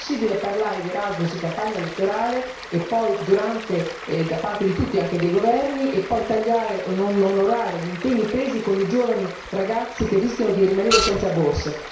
Non è possibile parlare di Erasmus in campagna elettorale, da parte di tutti anche dai governi, e poi tagliare e non onorare gli impegni presi con i giovani ragazzi che rischiano di rimanere senza borse.